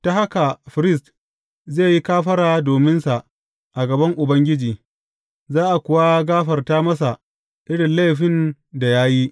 Ta haka firist zai yi kafara dominsa a gaban Ubangiji, za a kuwa gafarta masa irin laifin da ya yi.